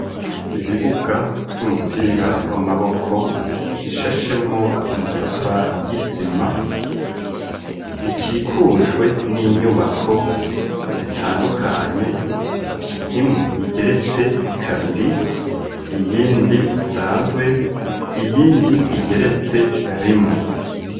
Ibibuga vy'umupira w'amaboko bishashemwo amatafari y'isima bikikujwe n'inyubako zitandukanye imwe igeretse kabiri iyindi isanzwe iyindi igeretse rimwe.